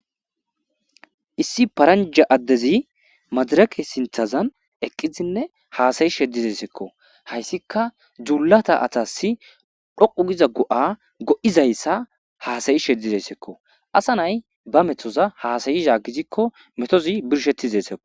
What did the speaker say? issi paranja addezi madarake sinthazan eqqizinne haasa7ishe dizesekko hayssika dzuulata atas dhoqu giza go7a go7izayssa haasa7ishe dizessikko asa nay ba methoza haasa7izha gizikko metozi birshettizesikko